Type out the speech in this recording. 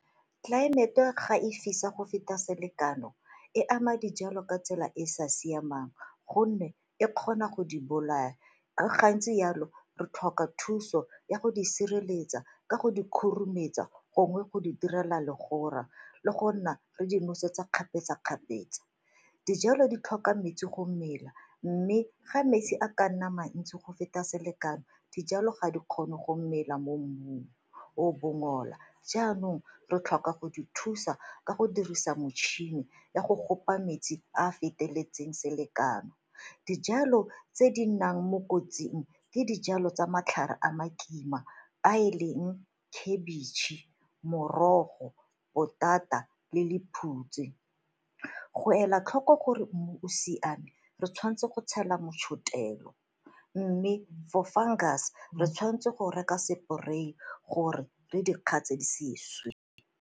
Tlelaemete ga e fisa go feta selekano e ama dijalo ka tsela e e sa siamang gonne e kgona go di bolaya, gantsi yalo re tlhoka thuso ya go di sireletsa ka go di khurumetsa gongwe go di direla legora le go nna re di nosetsa kgapetsa-kgapetsa. Dijalo di tlhoka metsi go mela mme ga metsi a ka nna mantsi go feta selekano dijalo ga di kgone go romela mo mmung o bongola, jaanong re tlhoka go di thusa ka go dirisa metšhini ya go kopa metsi a a feteletseng selekano. Dijalo tse di nnang mo kotsing le dijalo tsa matlhare a makima a e leng khabitšhe, morogo, potata le lephutshe. Go ela tlhoko gore mmu o siame re tshwanetse go tshela motšhotelo mme for fungus-e re tshwanetse go reka spray-e gore re di kgatse di se swe.